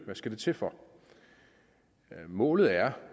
det skal til for målet er